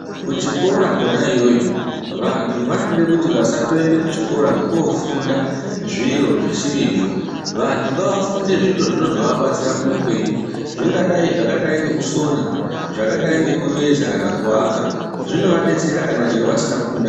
Kuchikora kwona iyoyo vantu vanode kuti vasandoende Kuchikora kwokoofunda zviro zvisirizvo. Vantu ngavafunde zviro zvinozoabatsira muupenyu. Zvingadai zvakadai ngekusona, zvakadai ngekuveza kana kuvaka. Zvinovadetsera chero kana vasina kupinda mu........